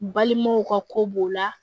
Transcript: Balimaw ka ko b'o la